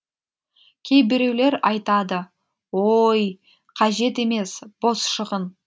кейбіреулер айтады ооой қажет емес бос шығын